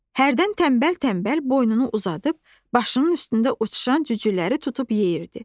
Hərdən tənbəl-tənbəl boynunu uzadıb başının üstündə uçuşan cücüləri tutub yeyirdi.